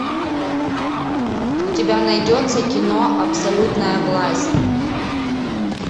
у тебя найдется кино абсолютная власть